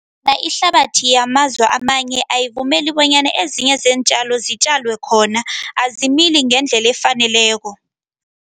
Ihlabathi yamazwe amanye, ayivumeli bonyana ezinye zeentjalo zitjalelwe khona, azimili ngendlele efaneleko.